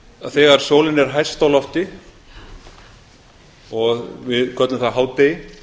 þegar sólin er hæst á lofti og við köllum það hádegi